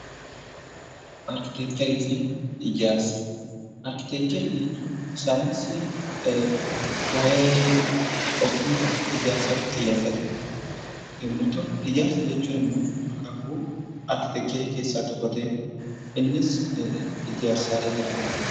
Arkiteekcharii fi Ijaarsa Arkiteekcharii jechuun saayiinsii waa'ee ogummaa ijaarsaa irratti xiyyeeffate yommuu ta'u; Ijaarsa jechuun immoo akaakuu arkiteekcharii keessaa tokko ta'ee innis ijaarsaalee gara garaa ti.